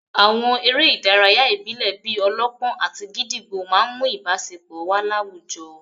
Àwọn eré ìdárayá ìbílẹ̀ bíi -ọlọ́pọ́n àti gídígbò máà ń mú ìbáṣepọ̀ wà láwùjọ